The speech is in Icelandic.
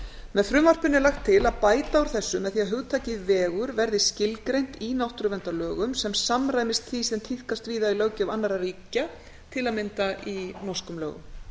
með frumvarpinu er lagt til að bæta úr þessu með því að hugtakið vegur verði skilgreint í náttúruverndarlögum sem samræmist því sem tíðkast víða í löggjöf annarra ríkja til að mynda í norskum lögum